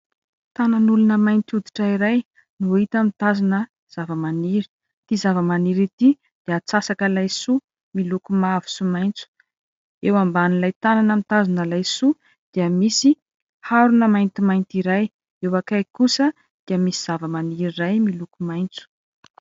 Tanan'olona mainty hoditra iray no hita mitazona zava-maniry .Ity zava-maniry ity dia atsasaka laisoa miloko mavo sy maitso. Eo ambanin'ilay tanana mitazona laisoa dia misy harona maintimainty ira. Eo akaikiny kosa dia misy zava-maniry iray miloko maitso.